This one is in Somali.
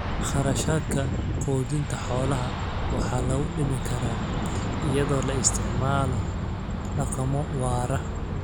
Kharashaadka quudinta xoolaha waxaa lagu dhimi karaa iyadoo la isticmaalo dhaqamo waara.